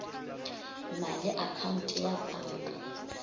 na le akhaonte ya panka